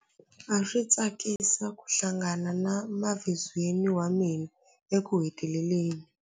A swi tsakisa ku hlangana na mavizweni wa mina ekuheteleleni.